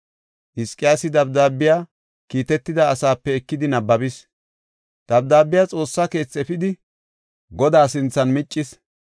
Hizqiyaasi dabdaabiya kiitetida asaape ekidi nabbabis. Dabdaabiya Xoossa keethi efidi, Godaa sinthan miccis.